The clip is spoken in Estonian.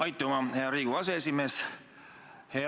Aitüma, hea Riigikogu aseesimees!